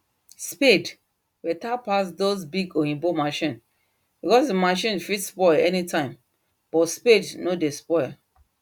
spade better pass those big oyibo machine because the machine fit spoil anytime but spade nor dey spoil